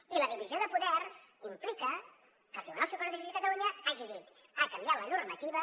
i la divisió de poders implica que el tribunal superior de justícia de catalunya hagi dit ha canviat la normativa